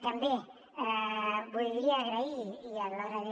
també voldria agrair a l’hora de